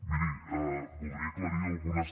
miri voldria aclarir algunes